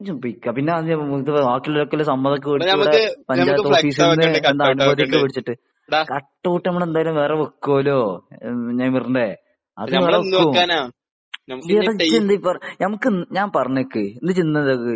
സമ്മതം ഒക്കെ മേടിച്ച് ഇവിടെ പഞ്ചായത്ത് ഓഫീസിൽ നിന്നു എന്താ അനുമതി ഒക്കെ മേടിച്ചിട്ട് . കട്ട്ഔട്ട് അമ്മള് എന്തായാലും വെറെ വെക്കുമല്ലോ ? നേയമർന്റെ അത് യിമ്മള് വയ്ക്കും എടാ ഇജ്ജ് എന്താ ഈ പറ നമുക്ക് എന്താ ഞാൻ പറഞ്ഞിക്കു ഇന്നിട്ട് ഇനിക്ക് എന്താ ഒരു